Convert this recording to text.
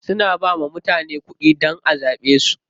Suna bawa mutane kuɗi dan a zaɓe su.